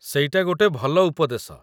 ସେଇଟା ଗୋଟେ ଭଲ ଉପଦେଶ।